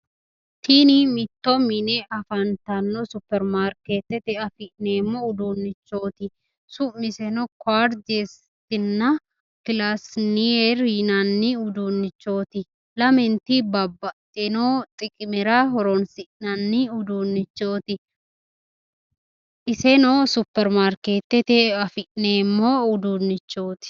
Tin mitto mine afantano, supirimaarkeetete afineemo uduunchoti, su'miseno kuartezina plasiner yinani uddunchooti, lament babaxino xiqimera horonsinnani uduunchoti iseno supermarkeetete afineemo uduunchoti